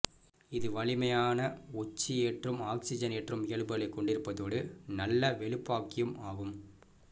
இது வலிமையான ஒட்சியேற்றும் ஆக்சிசனேற்றும் இயல்புகளைக் கொண்டிருப்பதோடு நல்ல வெளுப்பாக்கியும் ஆகும்